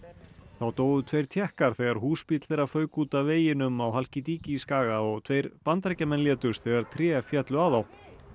þá dóu tveir Tékkar þegar húsbíll þeirra fauk út af veginum á skaga og tveir Bandaríkjamenn létust þegar tré féllu á þá